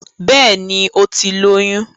Bẹ́ẹ̀ni, ó ti lóyún